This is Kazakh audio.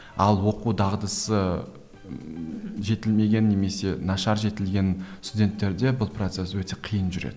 ал оқу дағдысы ммм жетілмеген немесе нашар жетілген студенттерде бұл процесс өте қиын жүреді